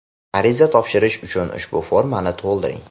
Ariza topshirish uchun ushbu formani to‘ldiring.